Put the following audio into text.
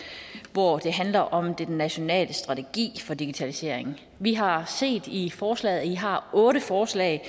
hvor det handler om den nationale strategi for digitaliseringen vi har set i forslaget at i har otte forslag